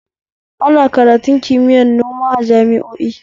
Ana karatun kimiyar noma jami'o'i